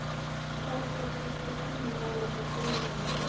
Tóti, stilltu tímamælinn á fimm mínútur.